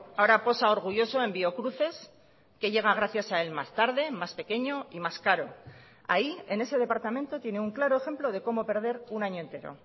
ahora posa orgulloso en biocruces que llega gracias a él más tarde más pequeño y más caro ahí en ese departamento tiene un claro ejemplo de cómo perder un año entero